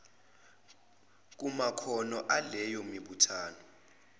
kumakhono aleyo mibuthano